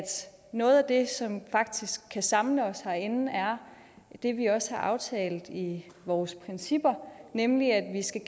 noget af det som faktisk kan samle os herinde er det vi også har aftalt i vores principper nemlig at vi skal